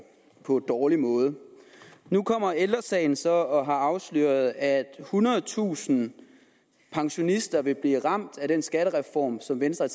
på en dårlig måde nu kommer ældre sagen så og afslører at ethundredetusind pensionister vil blive ramt af den skattereform som venstre